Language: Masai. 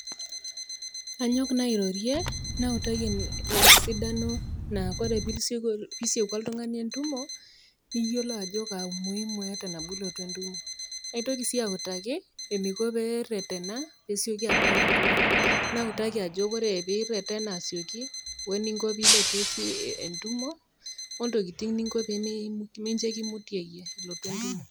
Anyok naa airorie nautaki esidano naa kore pee isieku oltung'ani entumo, niyolou ajo kaa umuhimu eata nabo ilotu entumo. Naitoki sii autaki eneiko pee eretena pee esioki abau entumo. Nautaki ajoki ore pee iretena asioki, we eninko pee ilotu entumo, o ntokitin ninko pee meikimutieyie ilotu entumo.